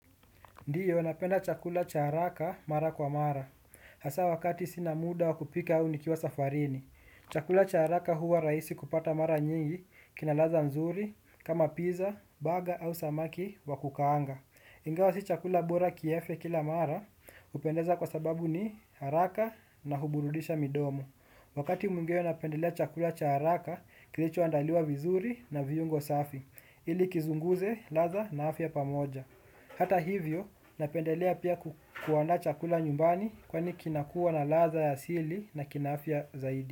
Ndiyo napenda chakula cha haraka mara kwa mara, hasa wakati sina muda wakupika au nikiwa safarini. Chakula cha haraka huwa rahisi kupata mara nyingi, kinalaza nzuri, kama pizza, baga au samaki wakukaanga. Ingawa si chakula bora kiefe kila mara, hupendeza kwa sababu ni haraka na huburudisha midomo. Wakati mwingeo napendelea chakula cha haraka, kilicho andaliwa vizuri na viungo safi, ili kizunguze ladha na afya pamoja. Hata hivyo, napendelea pia kuanda chakula nyumbani kwa ni kinakuwa na ladha ya sili na kinaafya zaidi.